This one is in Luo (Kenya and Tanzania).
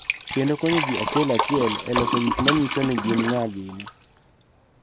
Kendo konyo ji achiel achiel e loso gik ma nyiso ni gin ng�a gini.